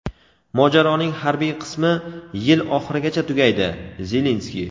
mojaroning harbiy qismi yil oxirigacha tugaydi – Zelenskiy.